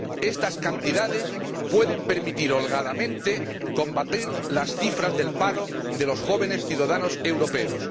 Estas cantidades pueden permitir, holgadamente, combatir las cifras del paro de los jóvenes ciudadanos europeos.